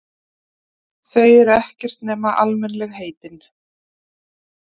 Þau eru ekkert nema almennilegheitin.